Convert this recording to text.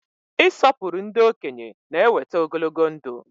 Ị sọpụrụ ndị okenye na-eweta ogologo ndụ.